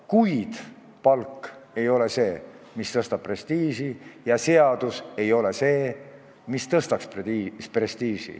Kuid palk ei ole see, mis tõstab prestiiži, ja seadus ei ole see, mis tõstaks prestiiži.